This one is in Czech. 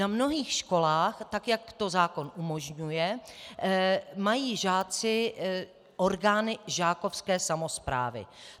Na mnohých školách, tak jak to zákon umožňuje, mají žáci orgány žákovské samosprávy.